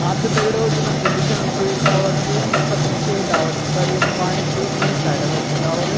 हाँ त दगड़ियों जन हमथे दिख्योणु की यू एक टावर च ये पतनी केक टावर च पर यो पाणी क इन्नी साइड कर च टावर ।